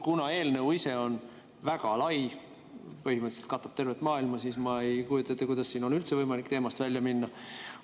Kuna eelnõu ise on väga lai, põhimõtteliselt katab tervet maailma, siis ma ei kujuta ette, kuidas siin oleks üldse võimalik teemast välja minna.